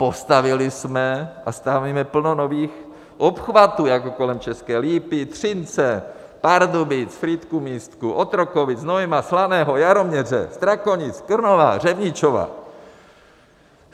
Postavili jsme a stavíme plno nových obchvatů jako kolem České Lípy, Třince, Pardubic, Frýdku-Místku, Otrokovic, Znojma, Slaného, Jaroměře, Strakonic, Krnova, Řevničova.